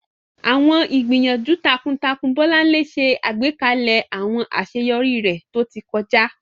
Àwọn ìgbìyànjú takuntakun Bolanle ṣe àgbékalẹ̀ àwọn àṣeyọrí rẹ̀ tó ti kọjá.